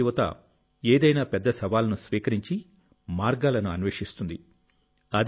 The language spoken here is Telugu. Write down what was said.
మన దేశ యువతఏదైనా పెద్ద సవాలును స్వీకరించి మార్గాలను అన్వేషిస్తుంది